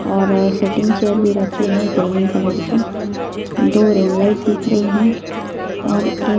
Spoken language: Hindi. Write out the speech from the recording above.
और सीटिंग चेयर भी रखी है ग्रीन कलर की दो रिंग लाइट दिख रही हैं और एक--